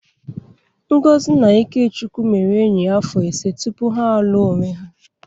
Ngozi na Ikechukwu mere enyi afọ ise tupu ha alụọ onwe ha.